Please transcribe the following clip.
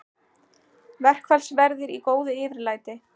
Verkfallsverðir í góðu yfirlæti